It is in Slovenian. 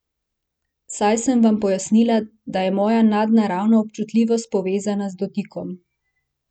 Saj sem vam pojasnila, da je moja nadnaravna občutljivost povezana z dotikom.